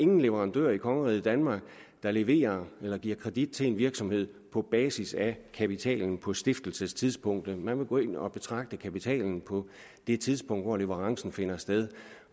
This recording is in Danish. nogen leverandør i kongeriget danmark der leverer eller giver kredit til en virksomhed på basis af kapitalen på stiftelsestidspunktet man vil gå ind og betragte kapitalen på det tidspunkt hvor leverancen finder sted